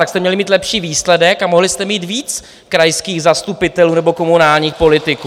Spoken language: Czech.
Tak jste měli mít lepší výsledek a mohli jste mít víc krajských zastupitelů nebo komunálních politiků!